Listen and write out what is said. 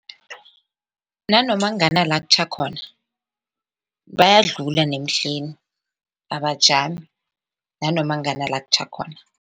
Nanoma ngana la kutjha khona bayadlula nemihleni abajajami, nanoma ngana la kutjha khona.